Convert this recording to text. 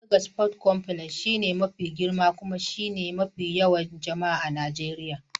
Lagos Port Complex shine mafi girma kuma mafi yawan jama'a a Najeriya.